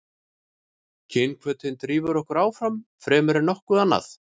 kynhvötin drífur okkur áfram fremur en nokkuð annað